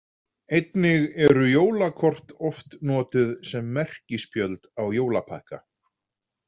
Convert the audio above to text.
Einnig eru jólakort oft notuð sem merkispjöld á jólapakka.